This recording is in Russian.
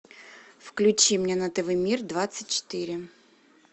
включи мне на тв мир двадцать четыре